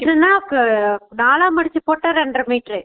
இல்லனா அஹ நாளா மடுச்சுபோட்ட ரென்ற மீட்டர்ரூ